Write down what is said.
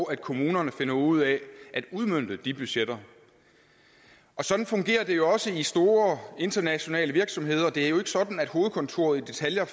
og at kommunerne finder ud af at udmønte de budgetter sådan fungerer det jo også i store internationale virksomheder det er jo ikke sådan at hovedkontoret i detaljer